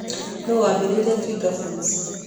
Nũũ waambĩrĩirie Twiga Foods?